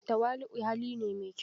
Tawali'u hali ne mai kyau.